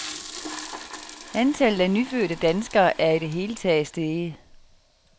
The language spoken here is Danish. Antallet af nyfødte danskere er i det hele taget steget.